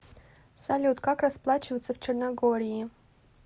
салют как расплачиваться в черногории